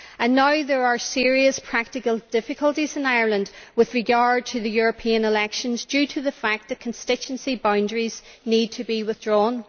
Now there are serious practical difficulties in Ireland with regard to the European elections, due to the fact that constituency boundaries need to be redrawn.